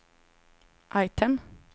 item